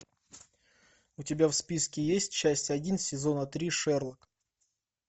у тебя в списке есть часть один сезона три шерлок